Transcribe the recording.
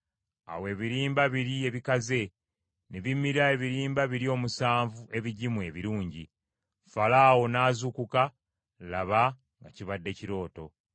Awo ebirimba biri ebikaze ne bimira ebirimba biri omusanvu ebigimu ebirungi. Falaawo n’azuukuka, laba nga kibadde kirooto.